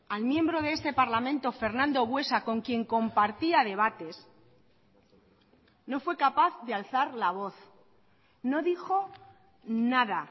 al miembro de este parlamento fernando buesa con quien compartía debates no fue capaz de alzar la voz no dijo nada